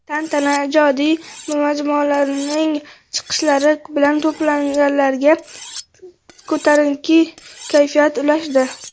Tantana ijodiy jamoalarning chiqishlari bilan to‘planganlarga ko‘tarinki kayfiyat ulashdi.